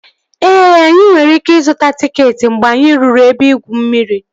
Ee, anyị nwere ike ịzụta tịketị mgbe anyị ruru ebe igwu mmiri